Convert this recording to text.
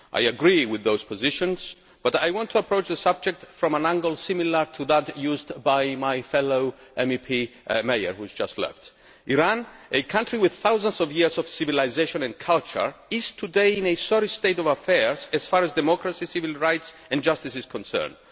I agree with those positions, but I want to approach the subject from an angle similar to that used by my fellow MEP, Mr Mayer, who has just left. Iran, a country with thousands of years of civilisation and culture, is today in a sorry state of affairs as far as democracy, civil rights and justice are concerned.